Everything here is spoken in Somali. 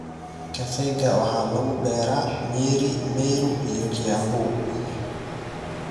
Kafeega waxaa lagu beeraa Nyeri, Meru, iyo Kiambu.